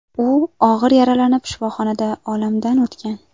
U og‘ir yaralanib, shifoxonada olamdan o‘tgan.